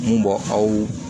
Mun bɔ aw